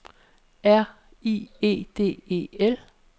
R I E D E L